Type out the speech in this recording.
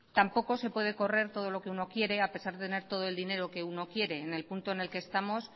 tampoco se puede correr todo lo que uno quiere a pesar de tener todo el dinero que uno quiere en el punto en el que estamos